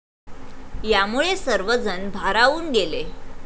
यामुळे सर्वजण भारावून गेले.